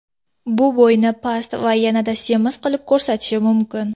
Bu bo‘yni past va yanada semiz qilib ko‘rsatishi mumkin.